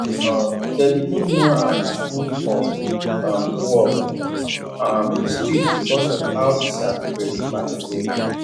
um dem begin know am as wolf of um wall um street because of how e sabi predict market well well